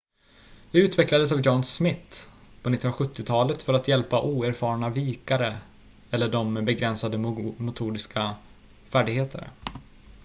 det utvecklades av john smith på 1970-talet för att hjälpa oerfarna vikare eller dem med begränsade motoriska färdigheter